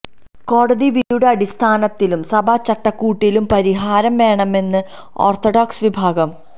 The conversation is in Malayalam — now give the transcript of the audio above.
കോടതി വിധിയുടെ അടിസ്ഥാനത്തിലും സഭ ചട്ടക്കൂട്ടിലും പരിഹാരം വേണമെന്ന് ഓര്ത്ത്ഡോക്സ് വിഭാഗം